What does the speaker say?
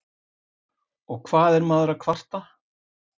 Og hvað er maður að kvarta?